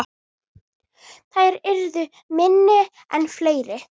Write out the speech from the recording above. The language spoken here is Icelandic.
Þær yrðu minni en fleiri.